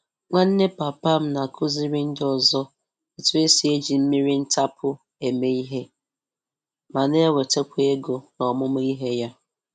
Nwanne papa m na-akụziri ndị ọzọ otú e si eji mmiri ntapu eme ihe, ma na-enwetakwa ego n'ọmụma ihe ya.